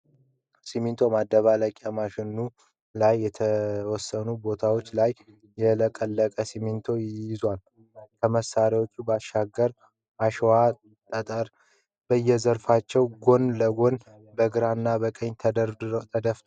ሲሚንቶ ማደባለቂያ ማሽኑ ላይ የተወሰኑ ቦታዎች ላይ ያለቀቀ ሲሞንቶ ይዟል። ከመሳሪያው ባሻገርም አሸዋና ጠጠር በየዘርፋቸው ጎን ለጎን በግራ እና በቀኝ ተደፍተዋል።